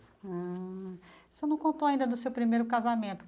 Ah. O senhor não contou ainda do seu primeiro casamento.